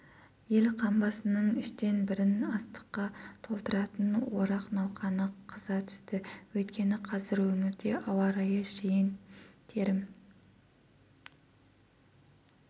ел қамбасының үштен бірін астыққа толтыратын орақ науқаны қыза түсті өйткені қазір өңірде ауа райы жиын-терім